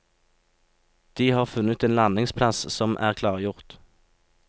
De har funnet en landingsplass som er klargjort.